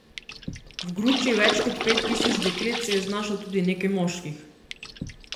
V gruči več kot pet tisoč deklet se je znašlo tudi nekaj moških.